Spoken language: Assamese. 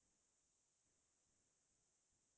সেনেকে গৈছো